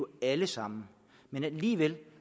alle sammen alligevel